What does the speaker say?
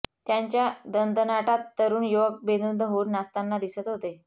त्यांच्या दणदणाटात तरुण युवक बेधुंद होऊन नाचताना दिसत होते